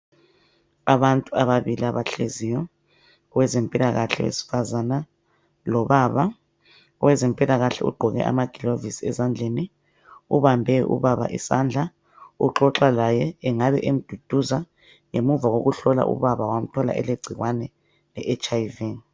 Abantu ababili abahleziyo, owezempilakahke owesifazana, lobaba owezempilakahke ogqoke amagilovisi ezandleni obambe ubaba isandla, uxoxa laye engabe emduduza ngemuva va kokuhlola ubaba wamthola elegcikwane leHIV.